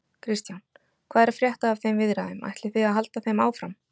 Kristján: Hvað er að frétta af þeim viðræðum, ætlið þið að halda þeim áfram?